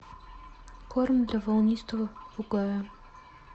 корм для волнистого попугая